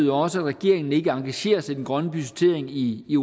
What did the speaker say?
jo også at regeringen ikke engagerer sig i den grønne budgettering i i